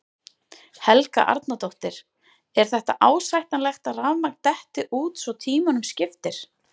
Helga Arnardóttir: Er þetta ásættanlegt að rafmagn detti út svo tímunum skiptir?